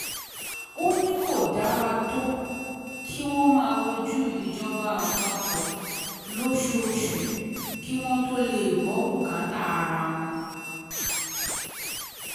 ó ní kò dára tó kí wọ́n máa wojú ìjọba àpapọ̀ lóṣooṣù kí wọ́n tóó lè gbọ́ bùkátà ara wọn